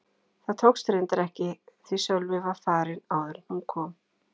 Það tókst reyndar ekki því Sölvi var farinn áður en hún kom.